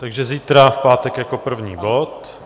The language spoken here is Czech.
Takže zítra v pátek jako první bod.